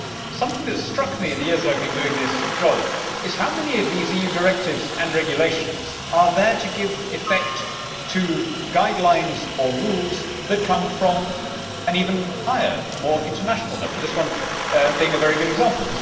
Something that struck me in the years that I have been doing this job is how many of these EU directives and regulations are there to give effect to guidelines or rules that come from an even higher, more international level, this one being a very good example.